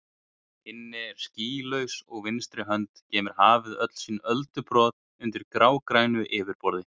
inn er skýlaus og á vinstri hönd geymir hafið öll sín öldubrot undir grágrænu yfirborði.